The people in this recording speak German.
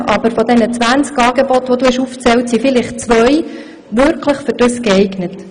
Aber von den 20 Angeboten sind wahrscheinlich nur zwei bei solchen Schwierigkeiten wirklich geeignet: